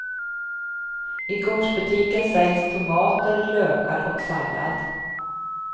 I gårdsbutiken säljs tomater, lökar och sallad.